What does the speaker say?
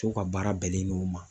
Cɛw ka baara bɛnnen don o ma.